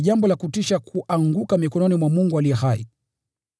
Ni jambo la kutisha kuanguka mikononi mwa Mungu aliye hai.